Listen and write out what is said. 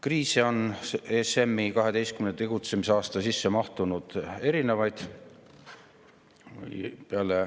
Kriise on ESM‑i 12 tegutsemisaasta sisse mahtunud erinevaid.